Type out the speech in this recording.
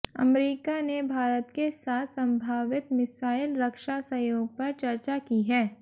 अमरीका ने भारत के साथ संभावित मिसाइल रक्षा सहयोग पर चर्चा की है